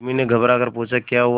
उर्मी ने घबराकर पूछा क्या हुआ